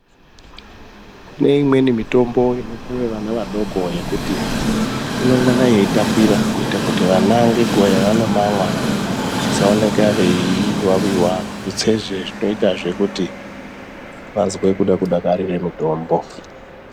Kune imweni mitombo inopuwa vana vadiki yekuti inongana yeitapira kuti vana ngenguva yavanomamwa vasaonekwa veiwawira tutsezve zvinoita kuti vazwe kuda kudakarira mutombo.